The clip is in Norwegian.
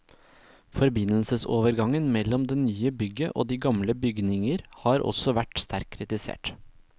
Forbindelsesovergangene mellom det nye bygget og de gamle bygninger har også vært sterkt kritisert.